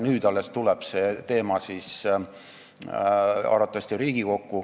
Nüüd alles tuleb see teema arvatavasti Riigikokku.